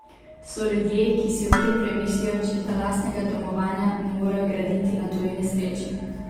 So ljudje, ki si ob tem premislijo, češ da lastnega domovanja ne morejo graditi na tuji nesreči.